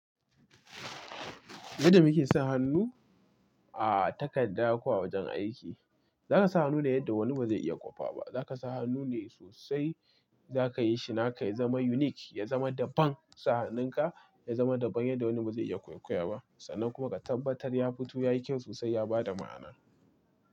Yadda muke son hannu a takadda ko awajen aiki, zakasa hannu ne yadda wani bazai iya kwafaba Za ka sa hannu ne sosai, za kayi shi naka ya zama unique, ya zama daban. Sa hannun ka ya zama daban yanda wani ba zai iya kwaikwaya ba. Sannan kuma ka tabbatar ya fito yayin kyan sosai ya bada ma'ana.